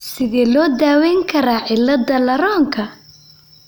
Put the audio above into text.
Sidee loo daweyn karaa cilada Laronka?